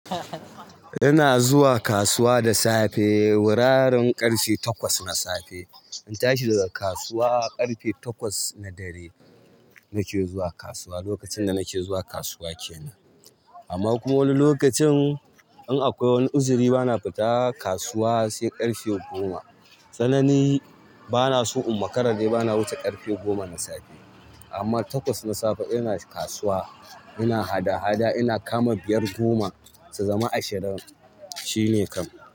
Ina zuwa kasuwa da safe wurarin ƙarfe takwas na safe. Aa tashi daga kasuwa ƙarfe takwas na dare nake zuwa kasuwa. Lokacin da nake zuwa kasuwa kenan amma kuma wani lokacin in akwai wani uzuri bana fita kasuwa se ƙarfe goma sannan ni bana so in makara de bana wuce ƙarfe goma na safe amma takwas na safe ina kasuwa ina hada-hada ina kama biyar goma su zama ashirin shine kam.